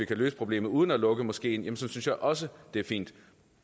kan løse problemet uden at lukke moskeen synes jeg også det er fint